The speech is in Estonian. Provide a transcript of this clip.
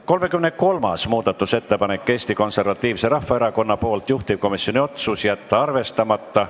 33. muudatusettepanek on Eesti Konservatiivselt Rahvaerakonnalt, juhtivkomisjoni otsus: jätta arvestamata.